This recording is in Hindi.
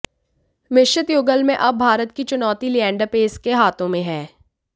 मिश्रित युगल में अब भारत की चुनौती लिएंडर पेस के हाथों में है